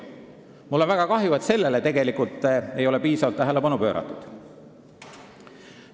Mul on väga kahju, et sellele ei ole piisavalt tähelepanu pööratud.